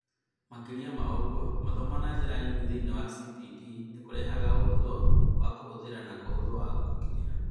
Makĩria ma ũguo, mathomo na njĩra nini thĩiniĩ wa CPD nĩ kũrehaga ũhũthũ wa kũhũthĩra na ũhũthũ wa gũkinyĩra